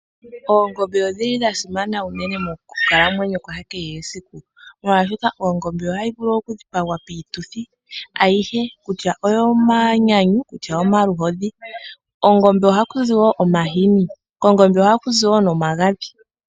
Oongombe odhili dha simana unene moku kalamwenyo kwa kehe esiku. Molwashoka Ongombe ohayi vulu oku dhipagwa piituthi ayihe kutya oyo manyanyu kutya oyo maluhodhi. Ongombe ohakuzi wo omahuni. kongombe ohakuzi wo omagadhi.